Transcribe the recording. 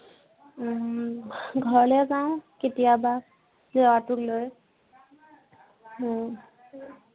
উম ঘৰলে যাওঁ কেতিয়াবা ল'ৰাটোক লৈ। উম